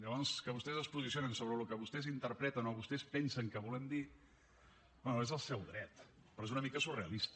llavors que vostès es posicionin sobre el que vostès interpreten o vostès pensen que volem dir bé és el seu dret però és una mica surrealista